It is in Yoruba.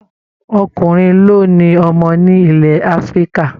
Ọkùnrin ló ni ọmọ ní ilẹ̀ Afrika